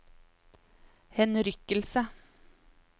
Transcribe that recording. henrykkelse